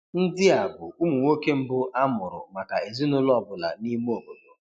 Ndị a bụ ụmụ nwoke mbụ a mụrụ maka ezinụlọ ọ bụla n'ime obodo